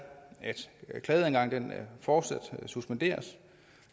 at klageadgangen fortsat suspenderes